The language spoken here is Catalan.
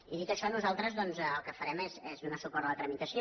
i dit això nosaltres doncs el que farem és donar suport a la tramitació